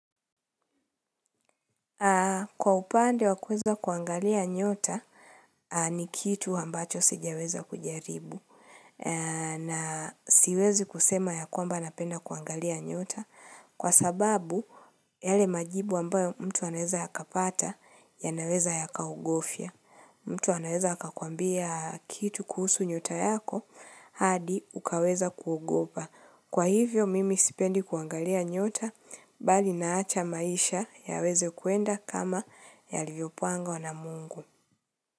Kwa upande wa kuweza kuangalia nyota ni kitu ambacho sijaweza kujaribu. Na siwezi kusema ya kwamba napenda kuangalia nyota kwa sababu yale majibu ambayo mtu anaweza ya kapata yanaweza yakagofya. Mtu anaweza akakuambia kitu kuhusu nyota yako hadi ukaweza kuugopa. Kwa hivyo mimi sipendi kuangalia nyota bali naacha maisha yaweze kwenda kama yalivyopangwa na mungu.